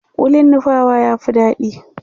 kullin nupawa ya Fi daɗi